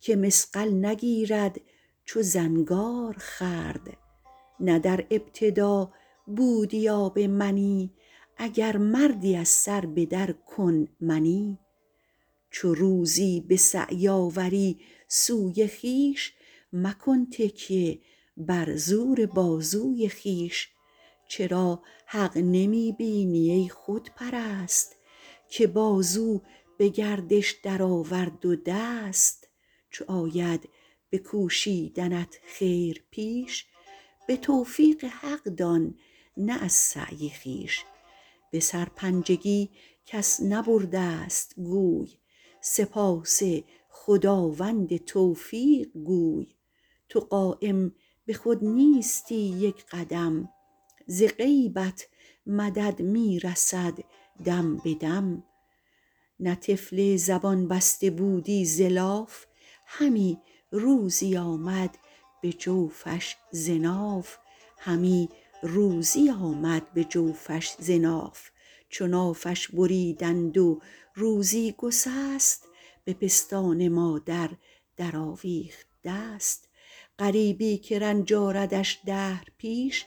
که مصقل نگیرد چو زنگار خورد نه در ابتدا بودی آب منی اگر مردی از سر به در کن منی چو روزی به سعی آوری سوی خویش مکن تکیه بر زور بازوی خویش چرا حق نمی بینی ای خودپرست که بازو به گردش درآورد و دست چو آید به کوشیدنت خیر پیش به توفیق حق دان نه از سعی خویش به سرپنجگی کس نبرده ست گوی سپاس خداوند توفیق گوی تو قایم به خود نیستی یک قدم ز غیبت مدد می رسد دم به دم نه طفل زبان بسته بودی ز لاف همی روزی آمد به جوفش ز ناف چو نافش بریدند و روزی گسست به پستان مادر در آویخت دست غریبی که رنج آردش دهر پیش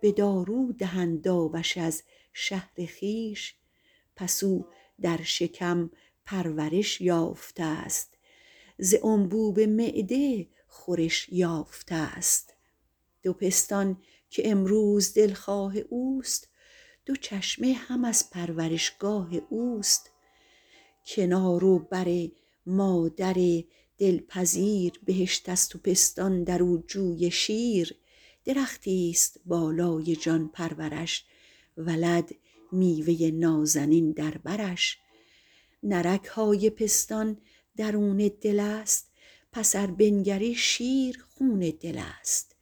به دارو دهند آبش از شهر خویش پس او در شکم پرورش یافته ست ز انبوب معده خورش یافته ست دو پستان که امروز دلخواه اوست دو چشمه هم از پرورشگاه اوست کنار و بر مادر دلپذیر بهشت است و پستان در او جوی شیر درختی است بالای جان پرورش ولد میوه نازنین بر برش نه رگ های پستان درون دل است پس ار بنگری شیر خون دل است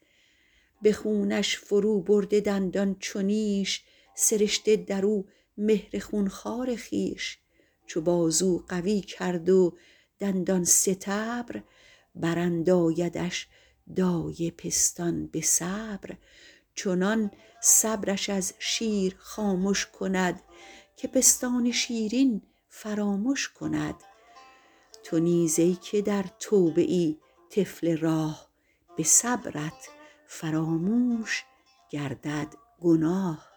به خونش فرو برده دندان چو نیش سرشته در او مهر خون خوار خویش چو بازو قوی کرد و دندان ستبر براندایدش دایه پستان به صبر چنان صبرش از شیر خامش کند که پستان شیرین فرامش کند تو نیز ای که در توبه ای طفل راه به صبرت فراموش گردد گناه